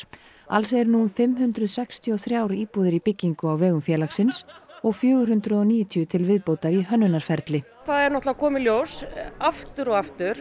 alls eru nú fimm hundruð sextíu og þrjár íbúðir í byggingu á vegum félagsins og fjögur hundruð og níutíu til viðbótar í hönnunarferli það er að koma í ljóst aftur og aftur